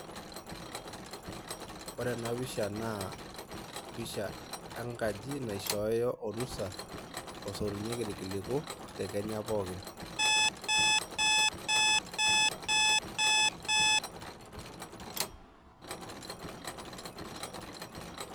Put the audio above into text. Ore enapisha, naa pisha enkaji naishooyo orusa osotunyeki irkiliku, te Kenya pookin.